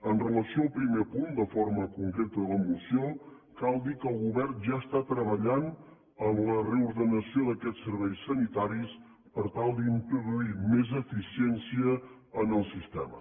amb relació al primer punt de forma concreta de la moció cal dir que el govern ja està treballant en la reordenació d’aquests serveis sanitaris per tal d’introduir més eficiència en el sistema